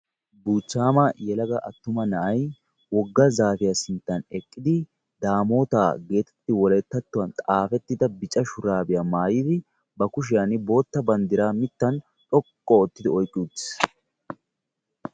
Buuchchama yelaga attuma na'ay wogga zaafiyaa sinttan eqqidi Daamoota geteti wolayttatuwaan xaafetida bicca shurabiya maayyidi ba kushiyaa bootta banddiraamittan xoqqu oottidi oyqqi uttiis.